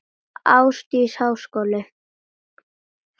Þar var gæsin gripin.